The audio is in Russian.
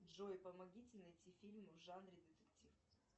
джой помогите найти фильм в жанре детектив